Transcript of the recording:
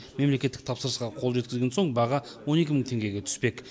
мемлекеттік тапсырысқа қол жеткізген соң баға он екі мың теңгеге түспек